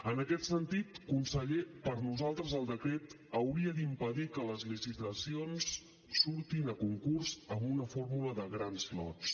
en aquest sentit conseller per nosaltres el decret hauria d’impedir que les licitacions surtin a concurs amb una fórmula de grans lots